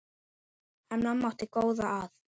En mamma átti góða að.